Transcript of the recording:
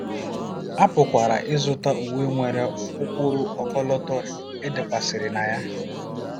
A pụkwara ịzụta uwe nwere ụkpụrụ ọkọlọtọ e dekwasịrị na ya.